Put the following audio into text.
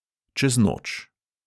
Čez noč.